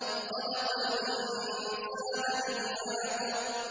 خَلَقَ الْإِنسَانَ مِنْ عَلَقٍ